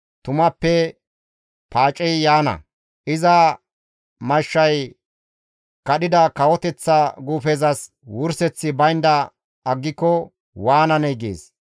Tumappe paacey yaana; iza mashshay kadhida kawoteththa guufezas wurseththi baynda aggiko waananee?› gees.